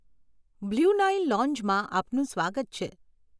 Blue Nile લોંજમાં આપનું સ્વાગત છે.